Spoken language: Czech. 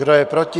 Kdo je proti?